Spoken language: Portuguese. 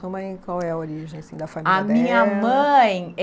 Sua mãe, Qual é a origem da família dela? A minha mãe é